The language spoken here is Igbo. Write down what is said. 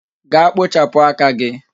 Gaa kpochapụ aka gị